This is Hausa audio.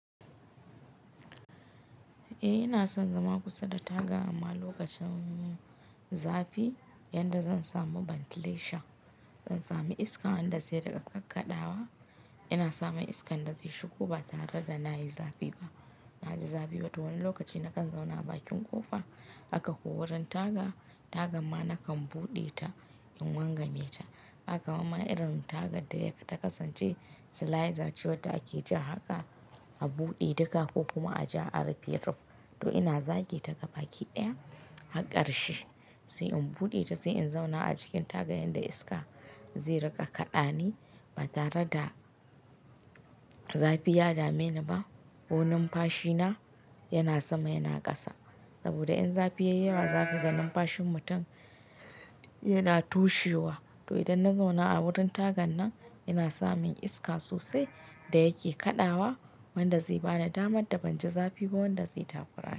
Eh ina son zama kusa da taga amma lokacin zafi yanda zan samu ventilation, zan sami iska wanda zai riƙa kakkaɗawa. Ina samun iska inda zai shigi ba tare da na yi zafi ba. Na ji zafi wato wani lokaci na kan zauna bakin ƙofa haka ko wurin taga, taga ma na kan buɗe ta in wanga meta. Kaman irin tagar da yake ta kasance slider, ce wadda ake ja haka a buɗe duka ko kuma a ja a rufe ruf. To ina zage ta ga baki ɗaya gar karshe, sai in buɗe ta sai in zauna a cikin taga yanda iska zai riƙa kaɗa ni ba tare da zafi ya dame ni ba. Ko num fashi na yana sama yana ƙasa. Saboda in zafi yayi yawa zaka ga nun fashin mutum yana tushewa. To idan na zauna a wurin tagan nan ina samun iska sosai da yake kaɗawa wanda zai bani damar da banji zafi ba wanda zai takurani.